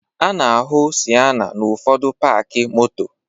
A na-ahụ Siena n'ụfọdụ paakị moto